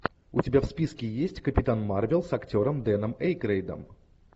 у тебя в списке есть капитан марвел с актером дэном эйкройдом